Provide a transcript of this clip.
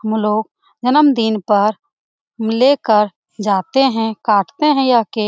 म लोग जन्मदिन पर लेकर जाते हैं काटते हैं यह केक |